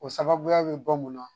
O sababuya bɛ bɔ mun na